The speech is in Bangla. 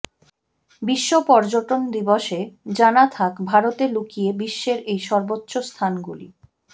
বিশ্ব পর্যটন দিবসে জানা থাক ভারতে লুকিয়ে বিশ্বের এই সর্বোচ্চ স্থানগুলি